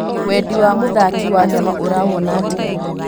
Wendi wa mũthaki Wanyama ũrawona atĩa?